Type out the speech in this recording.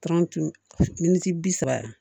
miniti bi saba